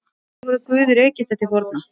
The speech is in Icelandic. Hverjir voru guðir Egypta til forna?